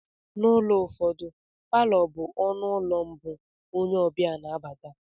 N'ụlọ ụfọdụ, Palọ bụ ọnụ ụlọ mbụ onye ọbịa na abata